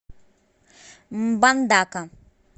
мбандака